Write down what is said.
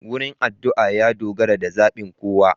Wurin adu'a ya dogara da zabin kowa.